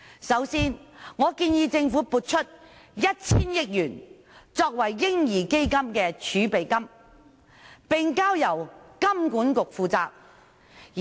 首先，我建議政府撥出 1,000 億元作為"嬰兒基金"的儲備金，並交由香港金融管理局負責。